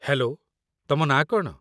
Hello, ତମ ନାଁ କ'ଣ?